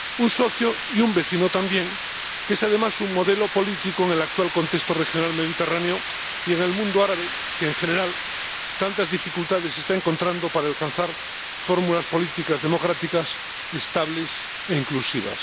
Un socio, y un vecino también, que es, además, un modelo político en el actual contexto regional Mediterráneo y en el mundo árabe, que, en general, tantas dificultades está encontrando para alcanzar fórmulas políticas democráticas estables e inclusivas.